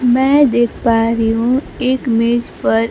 मैं देख पा रही हूं एक मेज पर--